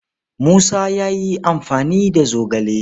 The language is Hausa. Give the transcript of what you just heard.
Musa ya yi amfani da zogale.